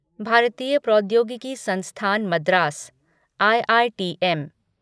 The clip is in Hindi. भारतीय प्रौद्योगिकी संस्थान मद्रास आईआईटीएम